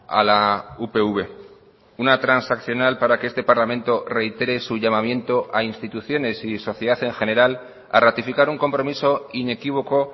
a la upv una transaccional para que este parlamento reitere su llamamiento a instituciones y sociedad en general a ratificar un compromiso inequívoco